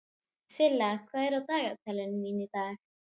Silla, hvað er í dagatalinu mínu í dag?